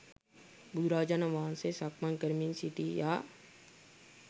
බුදුරජාණන් වහන්සේ සක්මන් කරමින් සිටියා